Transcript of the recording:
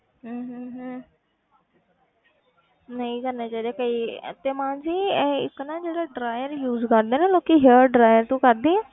ਹਮ ਹਮ ਹਮ ਨਹੀਂ ਕਰਨੇ ਚਾਹੀਦੇ ਕਈ ਤੇ ਮਾਨਸੀ ਇਹ ਇੱਕ ਨਾ ਜਿਹੜੇ dryer use ਕਰਦੇ ਆ ਨਾ ਲੋਕੀ hair dryer ਤੂੰ ਕਰਦੀ ਹੈ?